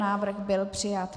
Návrh byl přijat.